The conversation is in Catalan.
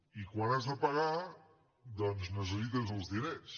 i quan has de pagar doncs necessites els diners